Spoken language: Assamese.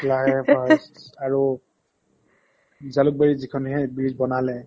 flyovers আৰু jalukbariত যিখনহে bridge বনালে